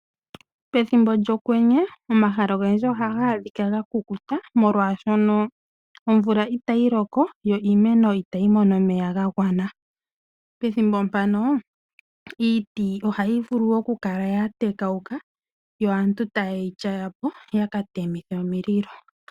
Pethimbo lyokwenye, omahala ogendji oha ga a dhika ga ku ku ta, omolwa shono omvula ita yi loko, yo iimeno ita yi mono omeya ga gwana. Pethimbo mpano, iiti oha yi vulu oku kala ya tekauka, yo aantu ta ya ye yityaya po, yo ya ka temithe omililo.